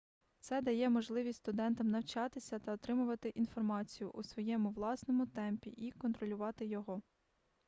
це дає можливість студентам навчатися та отримувати інформацію у своєму власному темпі й контролювати його